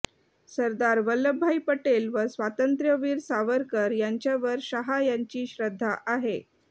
सरदार वल्लभभाई पटेल व स्वातंत्र्यवीर सावरकर यांच्यावर शहा यांची श्रध्दा आहे